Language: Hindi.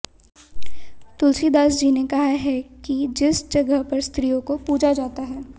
तुलसीदास जी ने कहा है कि जिस जगह पर स्त्रियों को पूजा जाता है